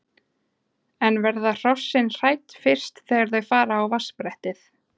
En verða hrossin hrædd fyrst þegar þau fara á vatnsbrettið?